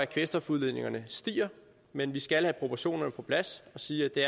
kvælstofudledningerne stiger men vi skal have proportionerne på plads og sige at det